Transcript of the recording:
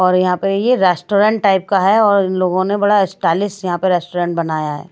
और यहां पे ये रेस्टोरेंट टाइप का है और इन लोगों ने बड़ा स्टाइलिश यहां पे रेस्टोरेंट बनाया है।